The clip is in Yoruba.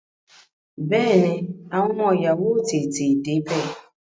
Bẹẹni, àwọn ọmọ ìyàwó ó tètè dé bẹ